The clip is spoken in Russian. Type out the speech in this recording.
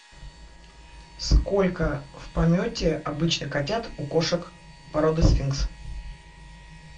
сколько в помете обычно котят у кошек породы сфинкс